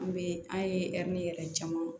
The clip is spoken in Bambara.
An bɛ an ye ɛri yɛrɛ caman